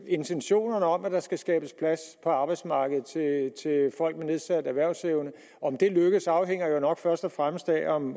intentionerne om at der skal skabes plads på arbejdsmarkedet til folk med nedsat erhvervsevne om det lykkes afhænger nok først og fremmest af om